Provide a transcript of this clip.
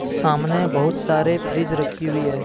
सामने बहुत सारे फ्रिज रखी हुई है।